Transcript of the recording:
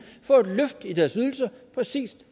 får et løft i deres ydelser præcis